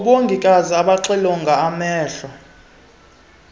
abongikazi abaxilonga amehlo